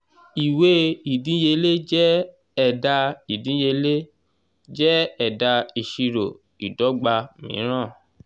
ìwé ìdíyelé jẹ́ ẹ̀dà ìdíyelé jẹ́ ẹ̀dà ìṣirò ìdọ́gba mìíràn.